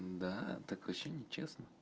да так вообще нечестно